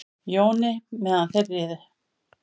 Jóni meðan þeir riðu.